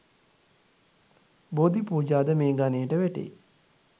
බෝධිපූජා ද මේ ගණයට වැටේ.